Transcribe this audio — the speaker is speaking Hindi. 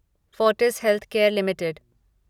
Fortis healthcare limited